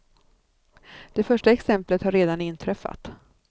Det första exemplet har redan inträffat.